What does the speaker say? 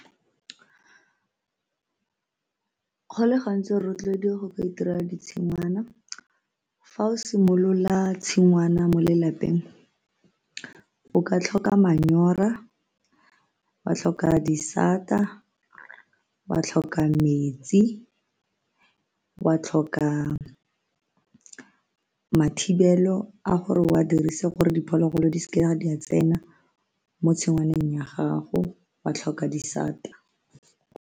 Go le gantsi re rotloediwe go ka itirela ditshingwana fa o simolola tshingwana mo lelapeng o ka tlhoka manyora, wa tlhoka disata, wa tlhoka metsi, wa tlhoka mathibelo a gore o a dirise gore diphologolo di seka di a tsena mo tshingwaneng ya gago wa tlhoka disata.